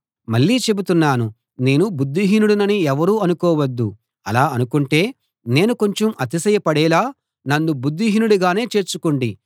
మళ్ళీ చెబుతున్నాను నేను బుద్ధిహీనుడినని ఎవరూ అనుకోవద్దు అలా అనుకుంటే నేను కొంచెం అతిశయపడేలా నన్ను బుద్ధిహీనుడిగానే చేర్చుకోండి